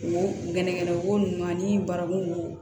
Wo gɛnɛgɛnɛko nunnu na ni baramugu